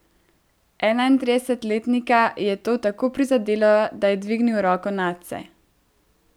Enaintridesetletnika je to tako prizadelo, da je dvignil roko nadse.